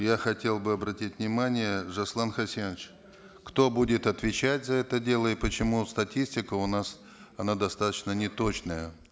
я хотел бы обратить внимание жасулан хасенович кто будет отвечать за это дело и почему статистика у нас она достаточно неточная